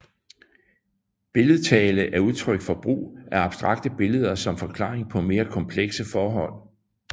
Billedtale er udtryk for brug af abstrakte billeder som forklaring på mere komplekse forhold